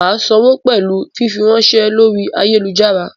Mà sánwo pẹ̀lú fífiránsẹ́ lórí ayélujára.